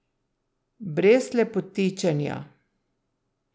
Brez lepotičenja.